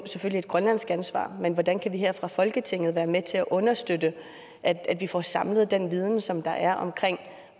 selvfølgelig et grønlandsk ansvar men hvordan kan vi her fra folketinget være med til at understøtte at at vi får samlet den viden som der er om